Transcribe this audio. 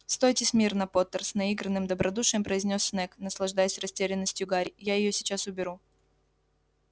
стойте смирно поттер с наигранным добродушием произнёс снегг наслаждаясь растерянностью гарри я её сейчас уберу